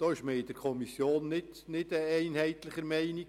Darüber war man in der Kommission geteilter Meinung.